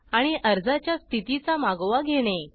आणि अर्जाच्या स्थितीचा मागोवा घेणे